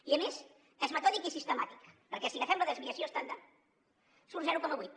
i a més és metòdic i sistemàtic perquè si agafem la desviació estàndard surt zero coma vuit